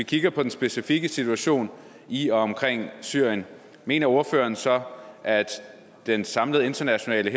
kigger på den specifikke situation i og omkring syrien mener ordføreren så at den samlede internationale